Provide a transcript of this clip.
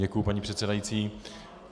Děkuji, paní předsedající.